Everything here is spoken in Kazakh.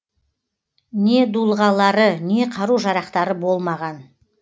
не дулығалары не қару жарақтары болмаған